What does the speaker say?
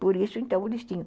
Por isso, então, eles tinham.